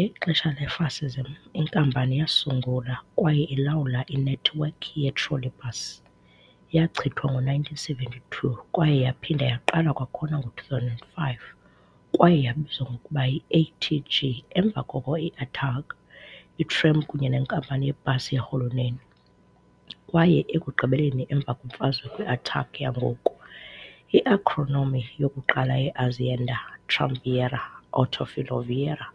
Ngexesha le-fascism inkampani yasungula kwaye ilawula inethiwekhi ye-trolleybus, yachithwa ngo-1972 kwaye yaphinda yaqala kwakhona ngo-2005, kwaye yabizwa ngokuba yi-ATG, emva koko i-ATAG, iTram kunye neNkampani yeBus yeRhuluneli, kwaye ekugqibeleni emva kwemfazwe kwi-ATAC yangoku. I-acronym yokuqala ye-Azienda Tramvieria Autofiloviaria